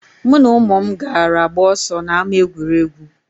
Mụ na ụmụ m gara gbaa ọsọ na ama egwuregwu.